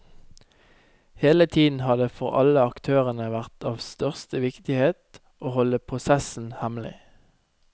Hele tiden har det, for alle aktørene, vært av største viktighet å holde prosessen hemmelig.